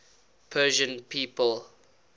persian people